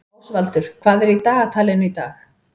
Ásvaldur, hvað er í dagatalinu í dag?